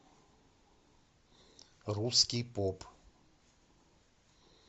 русский поп